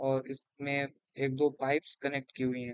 और इसमें एक-दो पाइप्स कनेक्ट की हुई हैं।